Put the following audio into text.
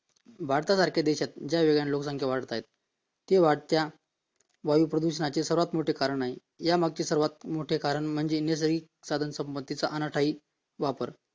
भारतासारख्या देशात ज्या वेगाने लोकसंख्या वाढत आहे ते वाढत्या वायू प्रदूषणाचे सर्वात मोठे कारण आहे म्हणजे निर्दयी साधनसंपत्तीचा अनाठायी वापर